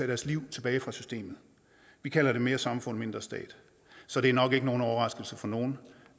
deres liv tilbage fra systemet vi kalder det mere samfund mindre stat så det er nok ikke nogen overraskelse for nogen